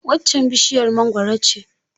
Waccan bishiyar mangwaro ce.